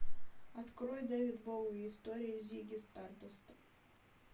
открой дэвид боуи история зигги стардаста